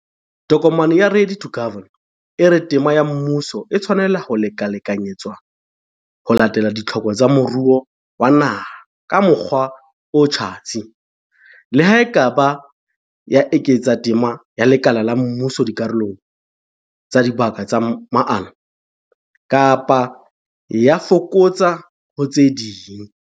Tokomane ya Ready to Govern e re tema ya mmuso e tshwanela ho lekalekanyetswa ho latela ditlhoko tsa moruo wa naha ka mokgwa o tjhatsi, le ha e ka ba e eketsa tema ya lekala la mmuso dikarolong tsa dibaka tsa maano, kapa e a e fokotsa ho tse ding.